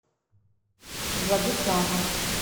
владислава